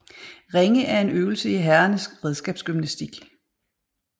Ringe er en øvelse i herrernes redskabsgymnastik